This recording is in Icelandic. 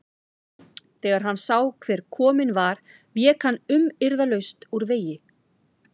Þegar hann sá hver kominn var vék hann umyrðalaust úr vegi.